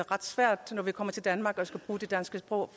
ret svært når vi kommer til danmark og skal bruge det danske sprog